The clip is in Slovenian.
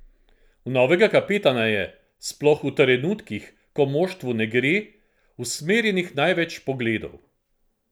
V novega kapetana je, sploh v trenutkih, ko moštvu ne gre, usmerjenih največ pogledov.